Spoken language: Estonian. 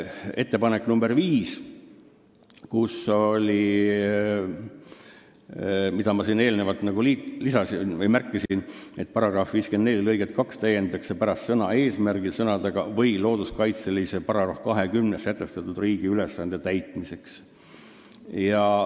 Ettepanek nr 5, mida ma siin juba enne mainisin: "§ 54 lõiget 2 täiendatakse pärast sõna "eesmärgil" sõnadega "või looduskaitseseaduse §-s 20 sätestatud riigi ülesande täitmiseks".